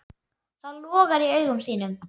Það logar í augum þínum.